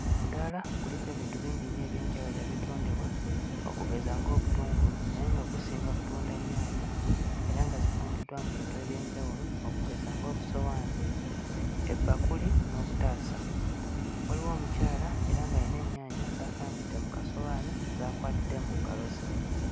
Omuddaala guliko ebintu bingi nnyo eby'enjawulo ebitundibwa okugeza ng'obutungulu naye nga gusinga kutunda nnyaanya era nga zipangiddwa mu bintu eby'enjawulo okugeza ng'obusowaani, ebbakuli n'obutaasa waliwo omukyala era ng'ayina ennyaanya z'apangidde mu kasowaani zaakwatidde mu ngalo ze.